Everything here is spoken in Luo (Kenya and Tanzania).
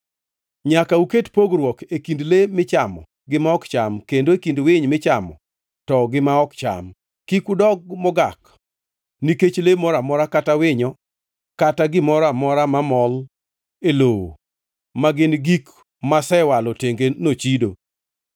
Nyaka uket pogruok e kind le michamo gi ma ok cham, kendo e kind winy michamo to gi ma ok cham. Kik udok mogak nikech le moro amora kata winyo kata gimoro amora mamol e lowo ma gin gik masewalo tenge nochido.